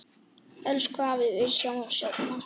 Elsku afi, við sjáumst seinna.